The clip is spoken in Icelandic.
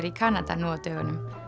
í Kanada nú á dögunum